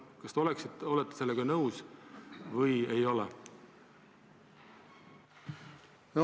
Kas te olete sellega nõus või ei ole?